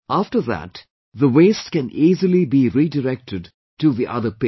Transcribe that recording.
After that the waste can easily be redirected to the other pit